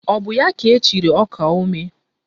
Ọ bụ ya ka echiri ọkaomee?